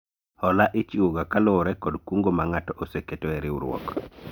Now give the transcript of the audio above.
Hola ichiwo ga kaluwore kod kungo ma ng'ato oseketo e riwruok